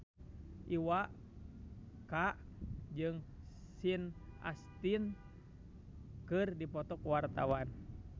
Iwa K jeung Sean Astin keur dipoto ku wartawan